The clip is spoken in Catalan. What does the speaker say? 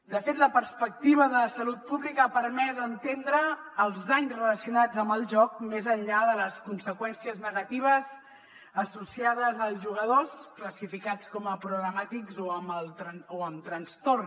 de fet la perspectiva de salut pública ha permès entendre els danys relacionats amb el joc més enllà de les conseqüències negatives associades als jugadors classificats com a problemàtics o amb trastorn